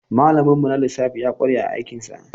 Malamin mu na lissafi ya ƙware a aikin sa.